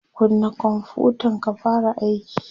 kunna konfutan ka fara aiki!